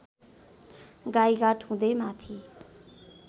गाइघाट हुदै माथि